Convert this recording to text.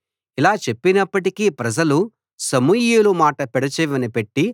ఇలా చెప్పినప్పటికీ ప్రజలు సమూయేలు మాట పెడచెవిన పెట్టి